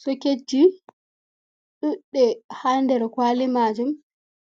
Soketju ɗudde ha nder kwali majum